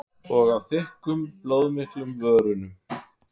Og á þykkum blóðmiklum vörunum.